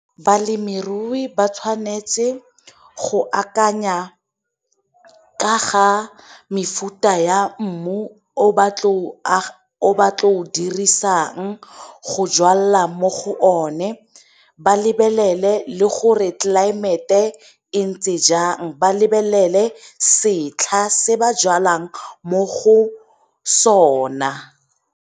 Balemirui ba tshwanetse go akanya ka ga mefuta ya mmu o batlo o dirisang go jwalela mo go o ne ba lebelele le gore tlelaemete e ntse jang ba lebelele setlha se ba jalang mo go sona.